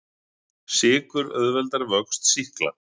Sykur auðveldar vöxt sýkla.